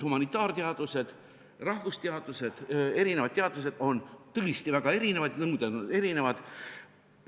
Humanitaarteadused, rahvusteadused, eri teadused on tõesti väga erinevad, nende nõuded on erinevad.